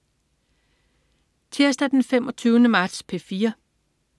Tirsdag den 25. marts - P4: